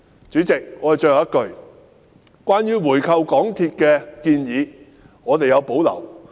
主席，最後一句，我們對回購港鐵公司的建議有保留。